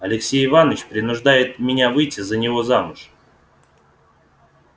алексей иванович принуждает меня выйти за него замуж